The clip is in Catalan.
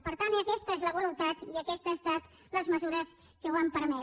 per tant aquesta és la voluntat i aquestes han estat les mesures que ho han permès